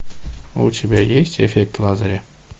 у тебя есть эффект лазаря